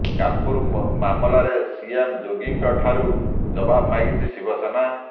କାନପୁର ମାମଲାରେ ସିଏମ ଯୋଗୀଙ୍କ ଠାରୁ ଜବାବ ମାଗିଛି ଶିବସେନା